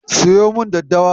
Siyo min daddawa.